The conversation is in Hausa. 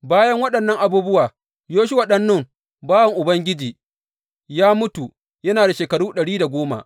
Bayan waɗannan abubuwa, Yoshuwa ɗan Nun, bawan Ubangiji, ya mutu yana da shekaru ɗari da goma.